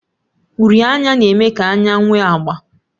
Uri anya na-eme ka anya nwee agba.